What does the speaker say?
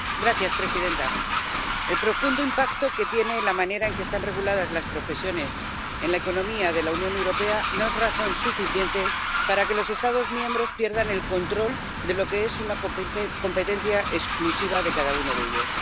Señora presidenta, el profundo impacto que tiene la manera en que están reguladas las profesiones en la economía de la Unión Europea no es razón suficiente para que los Estados miembros pierdan el control de lo que es una competencia exclusiva de cada uno de ellos.